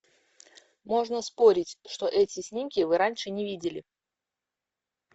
можно спорить что эти снимки вы раньше не видели